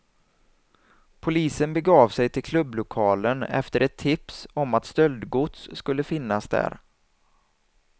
Polisen begav sig till klubblokalen efter ett tips om att stöldgods skulle finnas där.